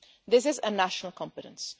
This is a national competence.